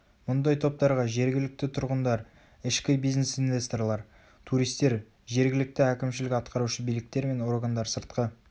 мұндай топтарға жергілікті тұрғындар ішкі бизнес инвесторлар туристер жергілікті әкімшілік атқарушы биліктер мен органдар сыртқы